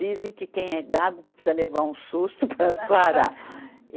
Dizem que quem é gago precisa levar um susto para sarar.